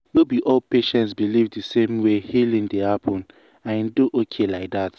no be all patients believe the same way healing dey happen and e dey okay like that.